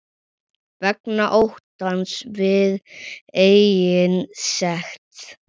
Vegna óttans við eigin sekt.